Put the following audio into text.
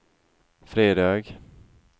fredag